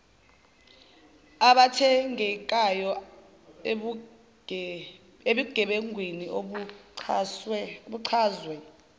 abathintekayo ebugebengwini obuchazwe